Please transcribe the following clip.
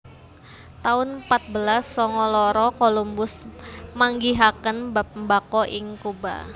taun patbelas sanga loro Colombus manggihaken bab mbako ing Cuba